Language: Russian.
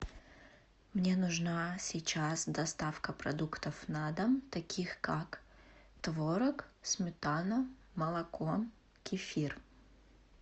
мне нужна сейчас доставка продуктов на дом таких как творог сметана молоко кефир